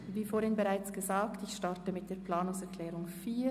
Wie gesagt beginnen wir mit der Planungserklärung 4.